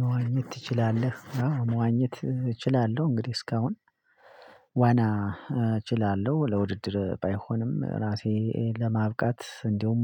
መዋኘት ትችላለህ? መዋኘት እችላለሁ እንግዲህ እስካሁን ዋና እችላለሁ ለውድድር ባይሆንም ራሴን ለማብቃት እንዲሁም